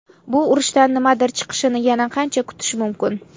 Bu urushdan nimadir chiqishini yana qancha kutish mumkin?